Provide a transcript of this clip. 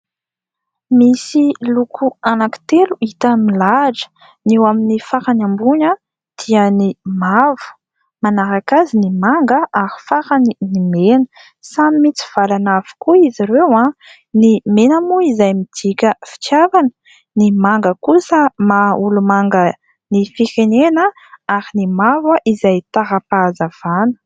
misy loko anankitelo hita milahatra, ny eo amin'ny farany ambony dia ny mavo, manaraka azy ny manga ary farany ny mena ; samy mitsivalana avokoa izy ireo , ny mena moa izay midika fitiavana, ny manga kosa maha olo-manga ny firenena ary ny mavo izay tara-pahazavana